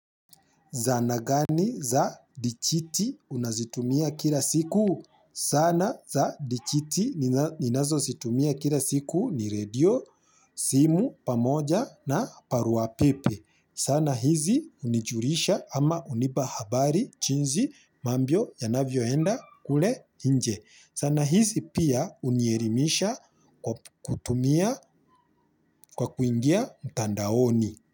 Zana gani za dichiti unazitumia kila siku zana za dichiti ninazozitumia kila siku ni radio simu pamoja na barua pepe. Sana hizi, unijurisha ama unipa habari chinzi mambyo yanavyoenda kule inje. Sana hizi pia, unierimisha kutumia, kwa kuingia mtandaoni.